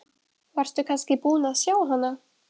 Varstu kannski búinn að sjá hana?